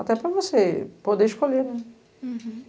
Até para você poder escolher, né? Uhum